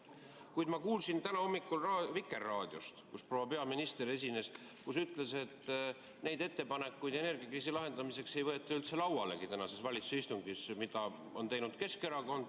Kuid ma kuulsin täna hommikul Vikerraadiost, kus esines proua peaminister, kes ütles, et neid ettepanekuid, mida on teinud Keskerakond energiakriisi lahendamiseks, ei võeta tänasel valitsuse istungil üldse laualegi.